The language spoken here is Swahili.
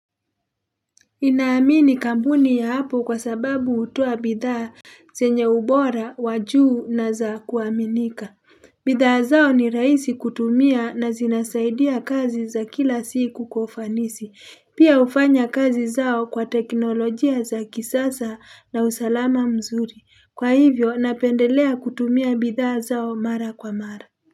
Inaamini kampuni ya apple kwa sababu hutoa bidhaa zenye ubora wa juu na za kuaminika bidhaa zao ni rahisi kutumia na zinasaidia kazi za kila siku kwa ufanisi pia hufanya kazi zao kwa teknolojia za kisasa na usalama mzuri kwa hivyo napendelea kutumia bidhaa zao mara kwa mara.